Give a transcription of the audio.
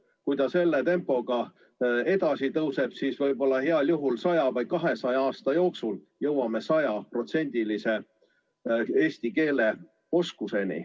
Kui see samasuguse tempoga edasi läheb, siis võib-olla heal juhul 100 või 200 aasta pärast jõuame sajaprotsendilise eesti keele oskuseni.